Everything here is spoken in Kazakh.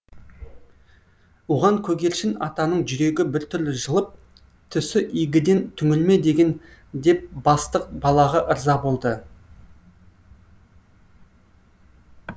оған көгершін атаның жүрегі біртүрлі жылып түсі игіден түңілме деген деп бастық балаға ырза болды